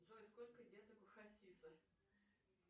джой сколько деток у хасиса